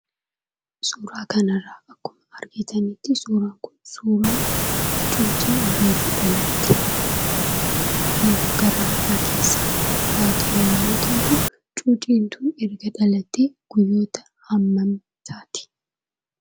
Suuraa kanarraa akkuma argitanitti suuraan kun suuraa cuucii reefuu dhalatte: reefuu garaa haadhaa keessaa baate yemmuu taatu, cuuciin tun erga dhalatte guyyoota hammam taati?